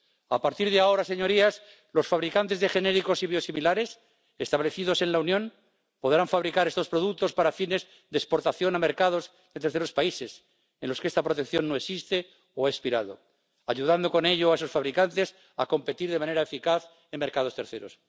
A partir de ahora, señorías, los fabricantes de genéricos y biosimilares establecidos en la Unión podrán fabricar estos productos para fines de exportación a mercados de terceros países en los que esta protección no existe o ha expirado, ayudando con ello a esos fabricantes a competir de manera eficaz en mercados terceros.